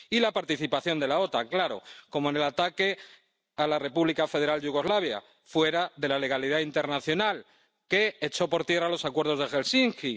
Y la participación de la OTAN, claro, como en el ataque a la República Federal de Yugoslavia —fuera de la legalidad internacional—, que echó por tierra los acuerdos de Helsinki.